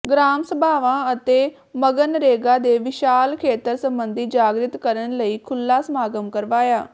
gram ਸਭਾਵਾਂ ਅਤੇ ਮਗਨਰੇਗਾ ਦੇ ਵਿਸ਼ਾਲ ਖੇਤਰ ਸਬੰਧੀ ਜਾਗਿ੍ਤ ਕਰਨ ਲਈ ਖੁੱਲ੍ਹਾ ਸਮਾਗਮ ਕਰਵਾਇਆ